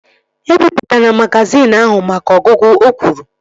E bipụtana magazin ahụ maka ọgụgụ! O kwuru